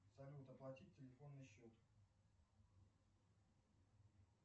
салют оплатить телефонный счет